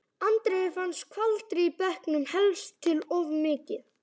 Andreu fannst skvaldrið í bekknum helst til of mikið.